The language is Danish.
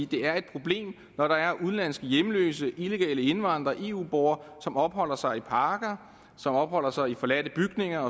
det er et problem når der er udenlandske hjemløse illegale indvandrere eu borgere som opholder sig i parker som opholder sig i forladte bygninger